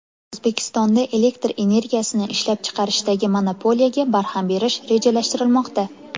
O‘zbekistonda elektr energiyasini ishlab chiqarishdagi monopoliyaga barham berish rejalashtirilmoqda.